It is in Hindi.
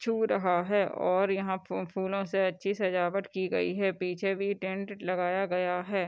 छू रहा है और यहाँ फू-फूलों से अच्छी सजावट की गई है पीछे भी टेंट लगाया गया है।